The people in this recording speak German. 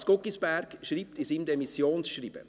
Lars Guggisberg schreibt in seinem Demissionsschreiben: